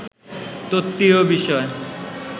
তত্ত্বীয় বিষয়